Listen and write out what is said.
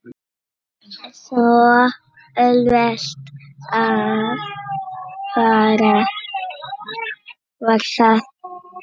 Svo auðvelt var það.